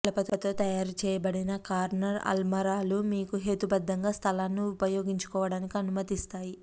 కలపతో తయారు చేయబడిన కార్నర్ అల్మారాలు మీకు హేతుబద్ధంగా స్థలాన్ని ఉపయోగించుకోవడానికి అనుమతిస్తాయి